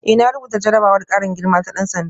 Eh na rubuta jarrabawar karin girma ta dan sanda